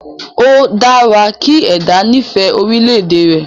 O dára kí ẹ̀dá nifẹ orílẹ̀ èdè rẹ̀